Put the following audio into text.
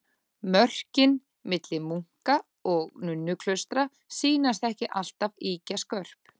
Mörkin milli munka- og nunnuklaustra sýnast ekki alltaf ýkja skörp.